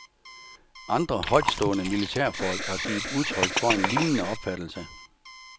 Andre højtstående militærfolk har givet udtryk for en lignende opfattelse.